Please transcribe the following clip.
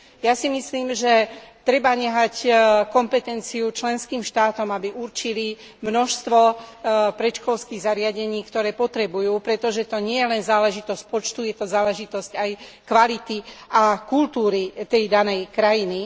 Ja si myslím, že treba nechať kompetenciu členským štátom, aby určili množstvo predškolských zariadení, ktoré potrebujú, pretože to nie je len záležitosť počtu, je to záležitosť aj kvality a kultúry tej danej krajiny.